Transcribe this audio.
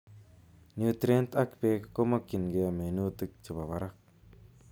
Nutrient ak beek komokyinke minuutik chebo barak